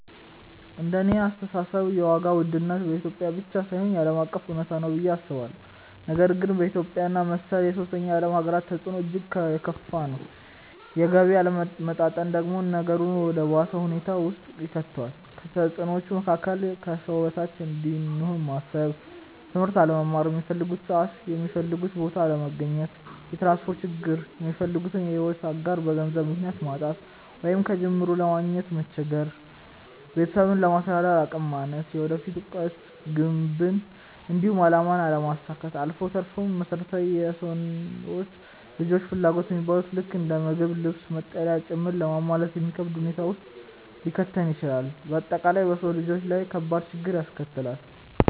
እንደኔ አስተሳሰብ የዋጋ ውድነት በኢትዮጵያ ብቻ ሳይሆን ዓለም አቀፍ እውነታ ነው ብዬ አስባለሁ፤ ነገር ግን በኢትዮጵያ እና መሰል የሶስተኛ ዓለም ሃገራት ተፅዕኖው እጅግ የከፋ ነው። የገቢ አለመመጣጠን ደግሞ ነገሩን ወደ ባሰ ሁኔታ ውስጥ ይከተዋል። ከተፅዕኖዎቹ መካከል፦ ከሰው በታች እንደሆኑ ማሰብ፣ ትምህርት አለመማር፣ ሚፈልጉበት ሰዓት የሚፈልጉበት ቦታ አለመገኘት፣ የትራንስፖርት ችግር፣ የሚፈልጉትን የሕይወት አጋር በገንዘብ ምክንያት ማጣት ወይንም ከጅምሩ ለማግኘት መቸገር፣ ቤተሰብን ለማስተዳደር አቅም ማነስ፣ የወደፊት ዕቅድን፣ ግብን፣ እንዲሁም አላማን አለማሳካት አልፎ ተርፎም መሰረታዊ የሰው ልጆች ፍላጎት የሚባሉትን ልክ እንደ ምግብ፣ ልብስ፣ መጠለያ ጭምር ለማሟላት የሚከብድ ሁኔታ ውስጥ ሊከተን ይችላል። በአጠቃላይ በሰው ልጆች ላይ ከባድ ችግርን ያስከትላል።